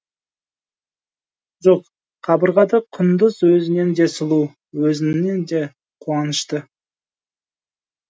жоқ қабырғада құндыз өзінен де сұлу өзінен де қуанышты